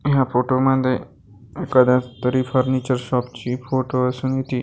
ह्या फोटो मध्ये एखाद्या तरी फर्निचर शॉप ची फोटो असूनही ती--